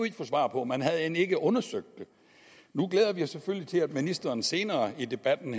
ikke få svar på man havde end ikke undersøgt det nu glæder vi os selvfølgelig til at ministeren senere i debatten